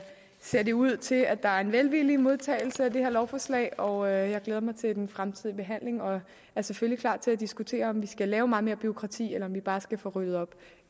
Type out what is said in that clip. ser det ud til at der er en velvillig modtagelse af det her lovforslag og jeg glæder mig til den fortsatte behandling og er selvfølgelig klar til at diskutere om vi skal lave meget mere bureaukrati eller om vi bare skal få ryddet op